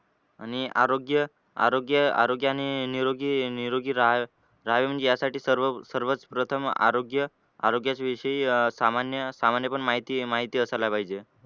आणि आरोग्य आरोग्य आरोग्याने निरोगी निरोगी रहावे रहावे यासाठी सर्व सर्वप्रथम आरोग्य आरोग्यचा विषयी सामान्य सामान्य पण माहिती माहिती असायला पाहिजे.